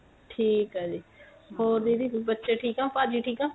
ਠੀਕ ਏ ਜੀ ਹੋਰ ਦੀਦੀ ਬੱਚੇ ਠੀਕ ਏ ਭਾਜੀ ਠੀਕ ਏ